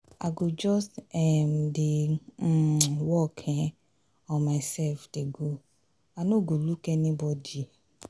i go just um dey um work um on myself dey go i no go look anybody.